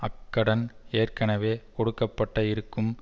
அக்கடன் ஏற்கனவே கொடுக்க பட இருக்கும்